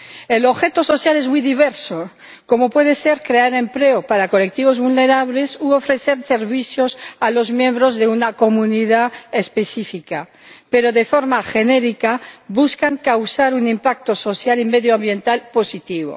El objeto social es muy diverso, como puede ser crear empleo para colectivos vulnerables u ofrecer servicios a los miembros de una comunidad específica, pero de forma genérica busca causar un impacto social y medioambiental positivo.